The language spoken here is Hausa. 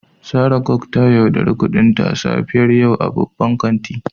Sarah gog ta yauɗari kudinta a safiyar yau a babban kanti.